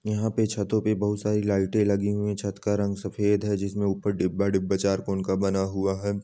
यहां पे छतों पे बहुत सारी लाइटें लगी हुई हैं। छत का रंग सफेद है जिसमे ऊपर डिब्बा डिब्बा चार कोन का बना हुआ है।